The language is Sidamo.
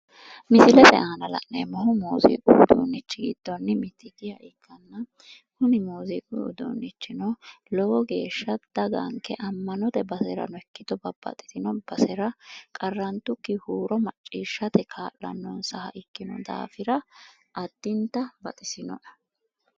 Misilete aana la'neemmohu muuziiqu uudunnichi giddonni mitikkiha ikkanna kuni muuziiqu uudunnichino lowo geeshsha daganke ammanote baserano ikkito babbaxitino basera daganke qarrantukki huuro maccishshate ka'lannohura addinta baxisinoe.